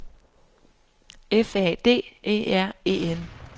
F A D E R E N